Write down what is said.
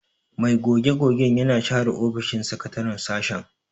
Mai goge-gogen yana share ofishin sakataren sashen.